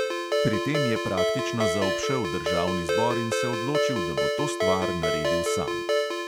Pri tem je praktično zaobšel državni zbor in se odločil, da bo to stvar naredil sam.